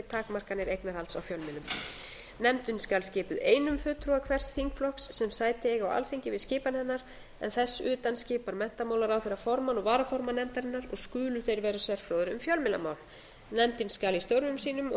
takmarkanir eignarhalds á fjölmiðlum nefndin skal skipuð einum fulltrúa hvers þingflokks sem sæti eiga á alþingi við skipan hennar þess utan skipar menntamálaráðherra formann og varaformann nefndarinnar og skulu þeir vera sérfróðir um fjölmiðlamál nefndin skal í störfum sínum og